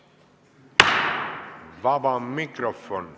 Vaba mikrofon.